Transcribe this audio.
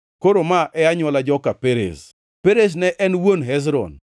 Koro ma e anywola joka Perez: Perez ne en wuon Hezron,